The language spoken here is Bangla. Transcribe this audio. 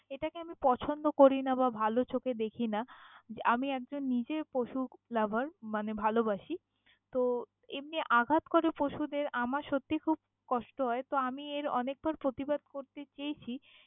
এটাকে আমি পছন্দ করিনা বা ভালো চোখে দেখিনা, আমি একজন নিজে পশু lover মানে ভালবাসি, তো এমনি আঘাত করে পশুদের আমার সত্যি খুব কষ্ট হয় তো আমি এর অনেকবার প্রতিবাদ করতে চেয়েছি!